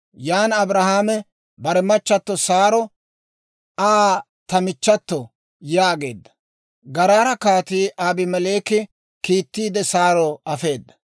Yan Abrahaame bare machchatto Saaro, «Aa ta michchato» yaageedda. Garaara Kaatii Abimeleeki kiittiide Saaro afeedda.